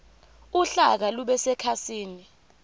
uhlaka lube sekhasini